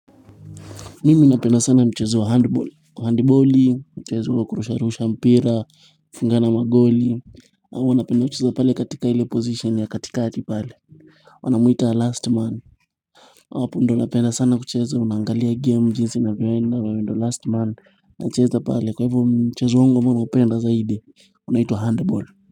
Mimi napenda sana mchezo wa handball kwa handballi, mchezo wa kurusha rusha mpira mnafungana magoli huwa napenda kucheza pale katika ile position ya katikati pale wanamwita last man apo ndio napenda sana kucheza unaangalia game jinsi inavyoenda wewe ndio last man nacheza pale kwa hivo mchezo wango ambao naupenda zaidi unaitwa handball.